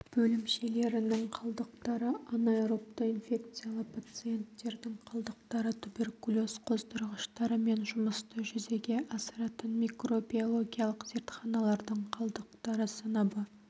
бөлімшелерінің қалдықтары анаэробты инфекциялы пациенттердің қалдықтары туберкулез қоздырғыштарымен жұмысты жүзеге асыратын микробиологиялық зертханалардың қалдықтары сыныбы